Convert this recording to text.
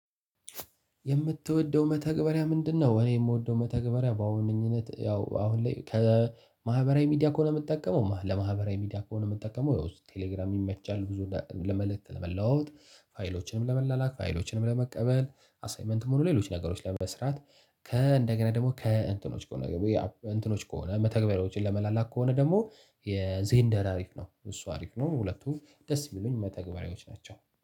የምትወደው መተግበሪያ ምንድነው? እኔ የምወደው መተግበሪያ በዋነኝነት ያው አሁን ላይ ከማህበራዊ ሚዲያ ከሆነ የምጠቀመው ለማህበራዊ ሚዲያ ከሆነ የምጠቀመው ያው እሱ ቴሌግራም ይመቻል ብዙ ለመልእክት ለመለዋወጥ ፋይሎችንም ለመላላክ ፋይሎችንም ለመቀበል አሳይመንትም ሆነ ሌሎች ነገሮች ለይ መስራት ከ እንደገና ደግሞ ከ ከእንትኖች ከሆነ ገብቶ እንትኖች ከሆነ መተግበሪያዎችን ለመላላክ ከሆነ ደግሞ የዜንደር አሪፍ ነው። እሱ አሪፍ ነው ሁለቱም ደስ የሚሉኝ መተግበሪያዎች ናቸው